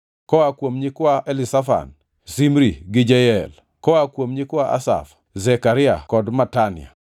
koa kuom nyikwa Elizafan, Shimri gi Jeyel, koa kuom nyikwa Asaf, Zekaria kod Matania;